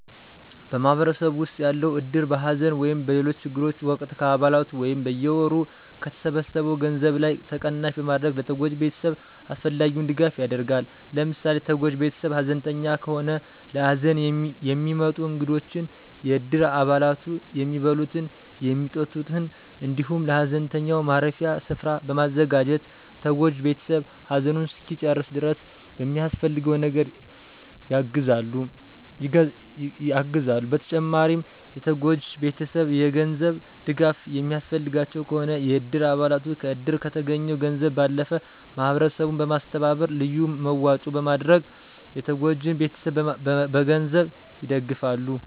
በማህበረሰብ ዉስጥ ያለዉ እድር በሐዘን ወይም በሌሎች ችግሮች ወቅት ከአባለቱ ላይ በየወሩ ከተሰበሰው ገንዘብ ላይ ተቀናሽ በማድረግ ለተጎጂ ቤተሰብ አስፈላጊውን ድጋፍ ያደርጋል። ለምሳሌ፦ ተጎጂ ቤተሰብ ሐዘንተኛ ከሆነ ለሀዘን የሚመጡ እንግዶችን የእድር አባላቱ የሚበሉትን፣ የሚጠጡትን እንዲሁም ለሀዘንተኛው ማረፊያ ስፈራን በማዘጋጀት ተጎጂ ቤተሰብ ሃዘኑን እስኪጨርስ ድረስ በሚያስፈልገው ነገር የግዘሉ። በተጨማሪም የተጎጂ ቤተሰብ የ ገንዘብ ድጋፍ የሚያስፈልጋቸው ከሆነ የእድር አባለቱ ከዕድር ከተገኘው ገንዘብ ባለፈ ማህበረሰቡን በማስተባበር ልዩ መዋጮ በማድረግ የተጎጂን ቤተሰብ በገንዘብ ይደግፋሉ።